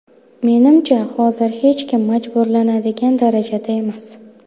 Menimcha, hozir hech kim majburlanadigan darajada emas.